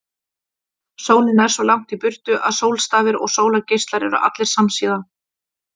Sólin er svo langt í burtu að sólstafir og sólargeislar eru allir samsíða.